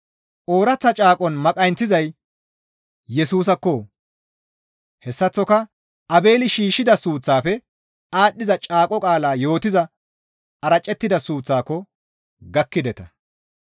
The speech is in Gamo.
Ooraththa caaqon maqayinththizay Yesusaakko; hessaththoka Aabeeli shiishshida suuththaafe aadhdhiza caaqo qaala yootiza aracettida suuththaako gakkideta.